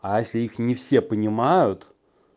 а если их не все понимают